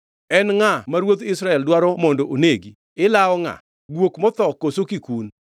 “En ngʼama ruodh Israel dwaro mondo onegi? Ilawo ngʼa? Guok motho koso kikun?